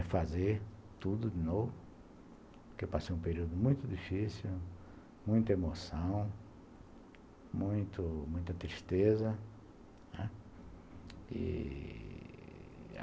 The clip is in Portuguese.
refazer tudo de novo, porque eu passei um período muito difícil, muito muita emoção, muita tristeza.